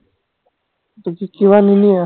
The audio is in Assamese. তাৰপাছত কিবা নিনিয়া